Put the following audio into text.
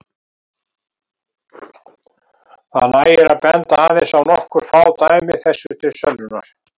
Það nægir að benda aðeins á nokkur fá dæmi þessu til sönnunar.